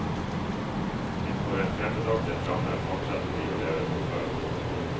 Innenfor en fremmedartet ramme fortsetter de å leve som før.